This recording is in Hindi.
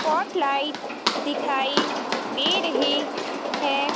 पॉट लाइट दिखाई दे रहे है।